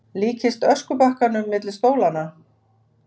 Líkist öskubakkanum milli stólanna.